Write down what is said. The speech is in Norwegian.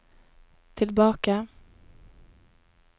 tilbake